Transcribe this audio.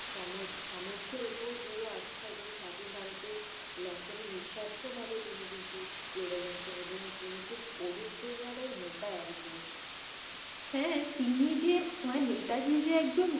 সম~সামার্থের উপর ধীরআস্থা এবং স্বাধীন ভারতের লক্ষ্যে উনি নিরস্বর্থ ভাবে তিনি কিন্তু লড়ে গেছেন। এবং তিনি খুব অনুপ্রেরণা দায় নেতা একজন। হ্যাঁ তিনি যে মানি নেতাজী যে একজন